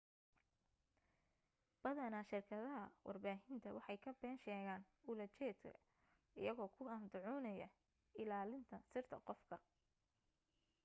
badanaa shirkadaha warbaahinta waxay ka been sheegaan ula jeedada iyago ku andacoonayo ilaa linta sirta qofka